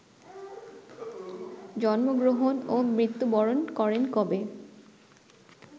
জন্মগ্রহন ও মৃত্যুবরণ করেন কবে